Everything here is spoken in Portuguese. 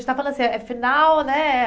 A gente está falando assim, é final, né?